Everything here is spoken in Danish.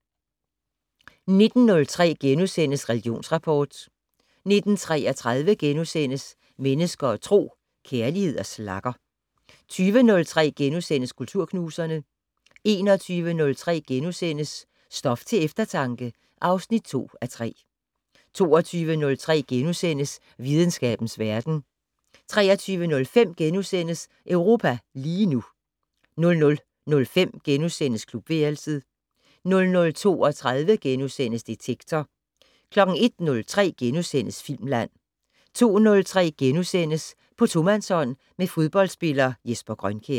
19:03: Religionsrapport * 19:33: Mennesker og Tro: Kærlighed og slagger * 20:03: Kulturknuserne * 21:03: Stof til eftertanke (2:3)* 22:03: Videnskabens Verden * 23:05: Europa lige nu * 00:05: Klubværelset * 00:32: Detektor * 01:03: Filmland * 02:03: På tomandshånd med fodboldspiller Jesper Grønkjær *